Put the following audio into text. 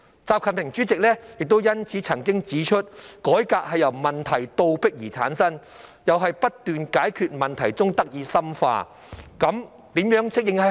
習近平主席因此亦曾指出："改革由問題倒逼而產生，又在不斷解決問題中得以深化。